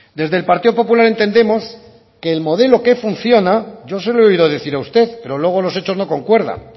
desde el partido popular entendemos que el modelo que funciona yo se lo he oído decir a usted pero luego los hechos no concuerdan